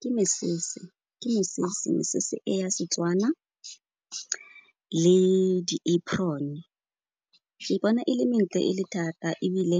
Ke mesese, ke mesese, mesese e ya Setswana le di-apron. Ke bona e le mentle e le thata ebile